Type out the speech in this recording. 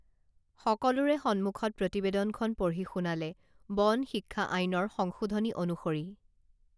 সকলোৰে সন্মুখত প্ৰতিবেদনখন পঢ়ি শুনালে বন শিক্ষা আইনৰ সংশোধনী অনুসৰি